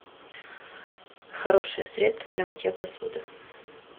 хорошее средство для мытья посуды